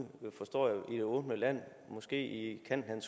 forstår jeg i det åbne land måske i kanten